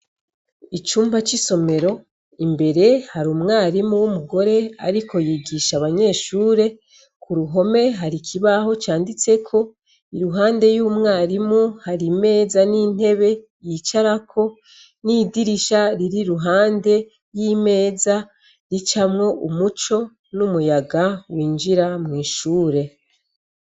Icumba c'isomero imbere hari umwarimu w'umugore, ariko yigisha abanyeshure ku ruhome hari ikibaho canditseko i ruhande y'umwarimu hari imeza n'intebe yicarako n'idirisha riri ruhande y'imeza ricamwo umuco ni umuyaga winjira mwishure.